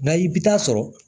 Nka i bi taa sɔrɔ